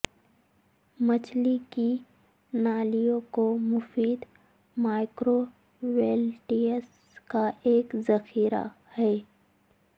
مچھلی کی نالیوں کو مفید مائیکرویلیٹس کا ایک ذخیرہ ہے